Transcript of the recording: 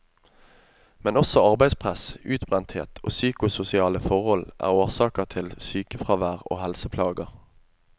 Men også arbeidspress, utbrenthet og psykososiale forhold er årsaker til sykefravær og helseplager.